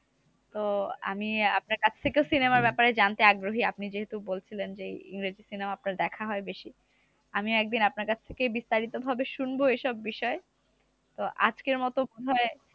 তো আমি আপনার কাছ থেকেও cinema র ব্যাপারে জানতে আগ্রহী। আপনি যেহেতু বলছিলেন যে, ইংরেজি cinema আপনার দেখা হয় বেশি। আমিও একদিন আপনার কাছ থেকেই বিস্তারিত ভাবে শুনবো এইসব বিষয়। তো আজকের মতো উভয়